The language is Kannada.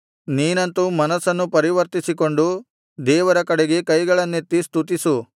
ನೀನಂತು ಮನಸ್ಸನ್ನು ಪರಿವರ್ತಿಸಿಕೊಂಡು ದೇವರ ಕಡೆಗೆ ಕೈಗಳನ್ನೆತ್ತಿ ಸ್ತುತಿಸು